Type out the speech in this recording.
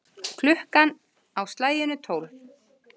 Klukkan á slaginu tólf.